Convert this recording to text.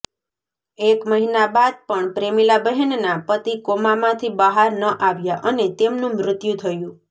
એક મહિના બાદ પણ પ્રેમીલા બહેનનાં પતિ કોમામાંથી બહાર ન આવ્યા અને તેમનું મૃત્યુ થયું